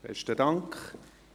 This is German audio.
Besten Dank.